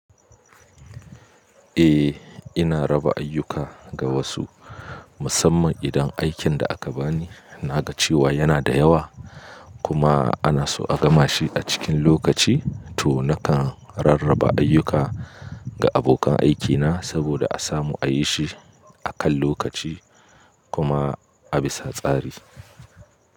Eh, ina raba ayyuka ga wasu musamman idan aikin da aka bani na ga cewa yana da yawa kuma ana so a gama shi a cikin lokaci to nakan rarraba ayyuka ga abokan aikina saboda a samu a yi shi a kan lokaci kuma a bisa tsari.